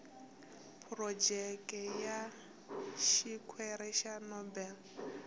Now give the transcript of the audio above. phurojeke ya xikwere xa nobel